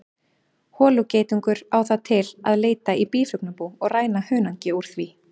Holugeitungur á það til að leita í býflugnabú og ræna hunangi úr því.